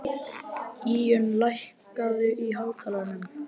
Íunn, lækkaðu í hátalaranum.